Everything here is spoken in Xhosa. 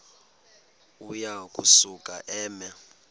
uya kusuka eme